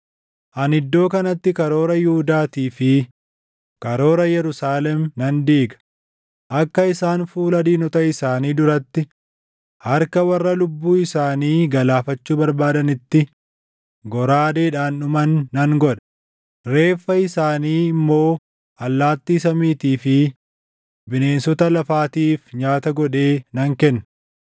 “ ‘Ani iddoo kanatti karoora Yihuudaatii fi karoora Yerusaalem nan diiga; akka isaan fuula diinota isaanii duratti, harka warra lubbuu isaanii galaafachuu barbaadaniitti goraadeedhaan dhuman nan godha; reeffa isaanii immoo allaattii samiitii fi bineensota lafaatiif nyaata godhee nan kenna.